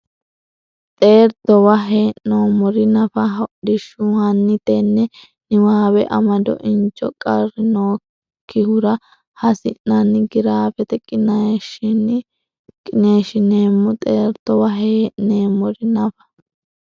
Xeertowa hee neemmori nafa hodhishshu hanni tenne niwaawe amado injo qarri nookkihura hasi nanni giraafete qiniishshinni neemmo Xeertowa hee neemmori nafa.